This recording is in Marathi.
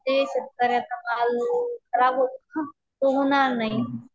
ते शेतकऱ्यांना माल खराब होतो ना तो होणार नाही.